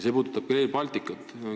See puudutab ka Rail Balticut.